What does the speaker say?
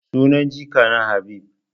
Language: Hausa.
Sunan jikana Habib.